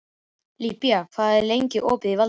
Líba, hvað er lengi opið í Valdís?